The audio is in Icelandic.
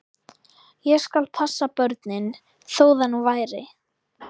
Ég skal passa börnin, þó það nú væri.